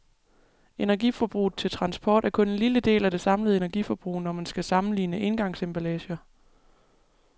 Energiforbruget til transport er kun en lille del af det samlede energiforbrug, når man skal sammenligne engangsemballager.